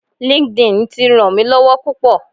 LinkedIn ti ràn mí lọ́wọ́ púpò.